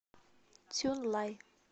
цюнлай